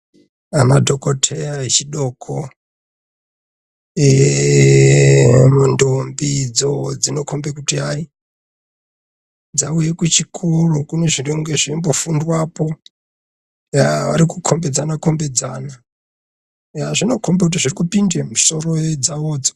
Madhokoteya echidoko ndombi dzo dzinokhomba kuti hayi dzauya kuchikora kune zvinenge zveifundwapo .Vari kukhombidzana -khombidzana zvinokhomba kuti hayi kune zviri kupinda mumisoro dzavodzo.